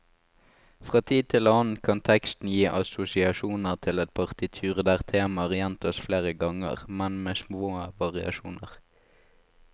Fra tid til annen kan teksten gi assosiasjoner til et partitur der temaer gjentas flere ganger, men med små variasjoner.